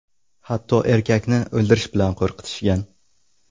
Hatto erkakni o‘ldirish bilan qo‘rqitishgan.